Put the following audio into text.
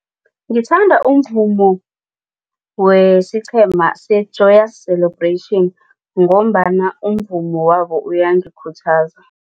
Ngithanda umvumo wesiqhema se-Joyous Celebration ngombana umvumo wabo uyangikhuthaza,